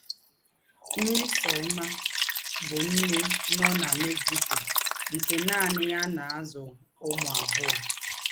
Mmesoma bụ̀ nnè nọ nà Mexico nke nánị yà na - àzụ̀ ǔmū àbụọ̀.